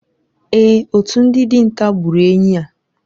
Èè, otu ndị dinta gburu enyí a.